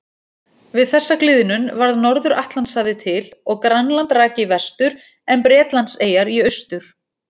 Við þessa gliðnun varð Norður-Atlantshafið til og Grænland rak í vestur en Bretlandseyjar í austur.